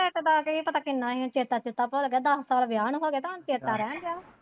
Rate ਦਾ ਕੀ ਪਤਾ ਕਿੰਨਾ ਹੁਣ ਚੇਤਾ ਚੁਤਾ ਭੁੱਲ ਗਿਆ ਦਸ ਸਾਲ ਵਿਆਹ ਨੂੰ ਗਏ ਤੇ ਹੁਣ ਚੇਤਾ ਰਹਿਣ ਦਿਆ।